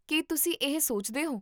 ਕੀ ਤੁਸੀਂ ਇਹ ਸੋਚਦੇ ਹੋ?